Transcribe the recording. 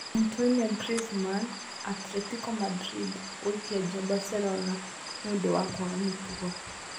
Antoine Griezmann: Atletico Madrid gũikia nja Barcelona nĩũndũ wa kwaga mĩtugo